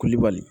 Kulibali